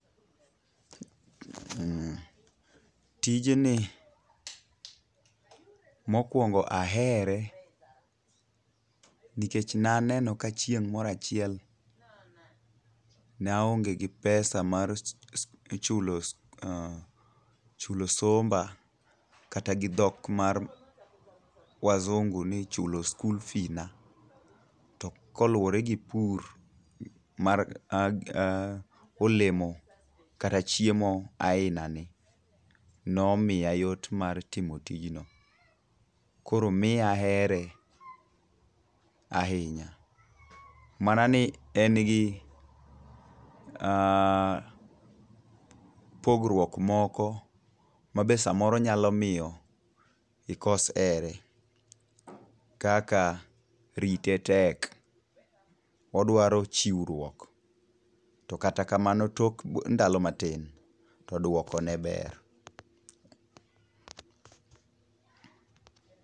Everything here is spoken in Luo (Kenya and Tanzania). Tij ni mokwongo ahere nikech ne aneno ka chieng' moro achiel, ne aonge gi pesa mar chulo somba kata gi dhok mar wazungu ni chulo school fee na. To koluwore gi pur mar olemo kata chiemo aina ni nomiya yot mar timo tijno. Koro miya ahere ahinya. Mana ni en gi pogruok moko mabe samoro nyalomiyo ikos here. Kaka rite tek odwaro chiwruok to kata kamano tok ndalo matin to duoko ne ber.